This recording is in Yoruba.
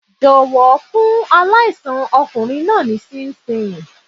Jọ̀wọ́ fún aláìsàn ọkùnrin naa ní ṣinṣin.